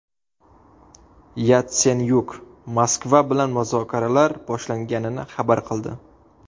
Yatsenyuk Moskva bilan muzokaralar boshlanganini xabar qildi.